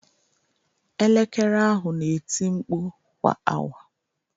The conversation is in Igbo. Elekere ahụ na-eti mkpu kwa awa.